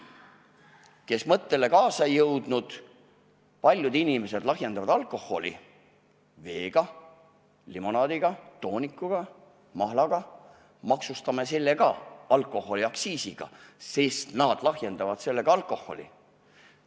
Neile, kes seda mõtet jälgida ei jõudnud: paljud inimesed lahjendavad alkoholi vee, limonaadi, tooniku, mahlaga – maksustame ka need alkoholiaktsiisiga, sest nendega lahjendatakse alkoholi.